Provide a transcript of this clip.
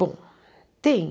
Bom, tem.